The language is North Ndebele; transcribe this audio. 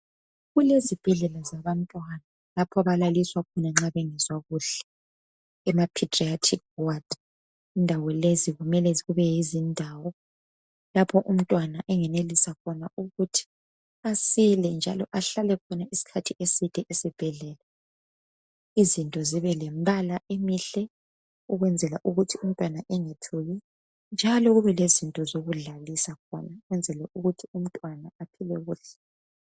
Kulezibhedlela zabanrwana, lapha abalaliswa khona nxa bengezwa kuhle. Emapedriatic ward. Indawo lezi kumele kubeyizindawo, lapho umntwana engenelisa khona ukuthi asile, njalo ahlale khona usikhathi eside esibhedlela, Izinto zibelemibala emihle. Ukwenzela ukuthi umntwana engethuki , njalo kube lendawo zokudlalisa khona, ukwenzela ukuthi umntwana asile kuhle.